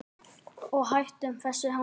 Og hættum þessu hangsi.